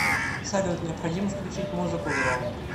салют необходимо включить музыку громко